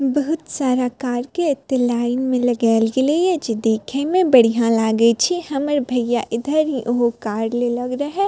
बहुत सारा कार के एते लाइन में लगाल गेले या जे देखे में बढ़िया लागे छै हमर भैया इधर ऊहो कार लेलक रेहा।